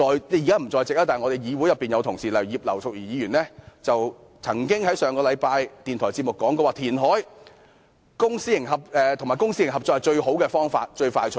然而，一些議員同事，例如葉劉淑儀議員——她現在不在席——上星期曾在電台節目說填海及公私營合作是最好、最快捷的方法。